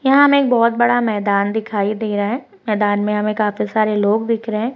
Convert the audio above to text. यहां हमे एक बहत बड़ा मैदान दिखाई दे रहा है मैदान में हमें काफी सारे लोग दिख रहे हैं।